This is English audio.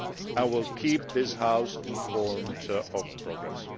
I will keep this House informed of progress.